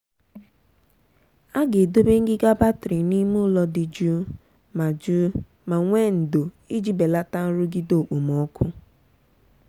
a ga-edobe ngịga batrị n'ime ụlọ dị jụụ ma jụụ ma nwee ndò iji belata nrụgide okpomọkụ.